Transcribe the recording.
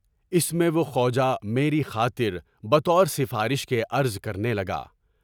اس میں وہ خواجہ میری خاطر بہ طورِ سفارِش کے عرض کرنے لگا۔